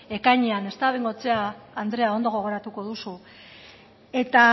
ekainean ezta bengoechea andrea ondo gogoratuko duzu eta